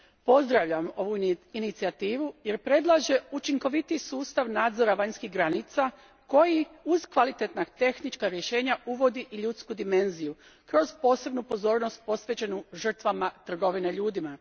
Pozdravljam ovu inicijativu, jer predlaže učinkovitiji sustav nadzora vanjskih granica koji uz kvalitetna tehnička rješenja uvodi i ljudsku dimenziju, kroz posebnu pozornost posvećenu žrtvama trgovine ljudima.